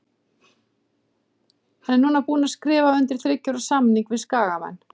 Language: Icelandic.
Hann er núna búinn að skrifa undir þriggja ára samning við Skagamenn.